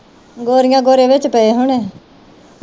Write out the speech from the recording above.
ਗੋਰੀਆਂ ਗੋਰੇ ਵਿਚ ਪਏ ਹੋਣੇ